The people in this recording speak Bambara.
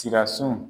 Sira sun